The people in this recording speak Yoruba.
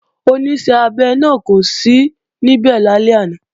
Oníṣẹ́-abẹ náà kò sí níbẹ̀ lálẹ́ àná